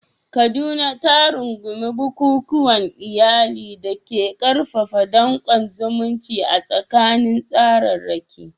Kaduna ta rungumi bukukuwan iyali da ke ƙarfafa danƙon zumunci a tsakanin tsararraki.